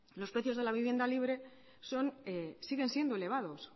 los precios de la vivienda libre siguen siendo elevados